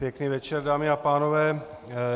Pěkný večer, dámy a pánové.